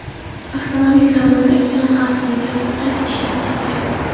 Avtomobil salonidagi yon xavfsizlik yostiqchasi ishlab ketgan.